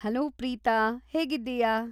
Hello, Preetha. ಹೇಗಿದ್ದೀಯಾ?